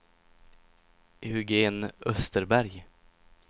Eugen Österberg